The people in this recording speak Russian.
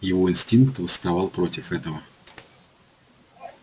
его инстинкт восставал против этого